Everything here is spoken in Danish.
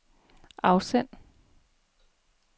afsend